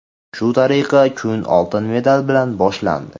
Shu tariqa kun oltin medal bilan boshlandi.